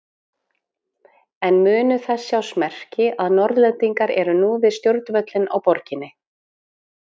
En munu þess sjást merki að Norðlendingar eru nú við stjórnvölinn á Borginni?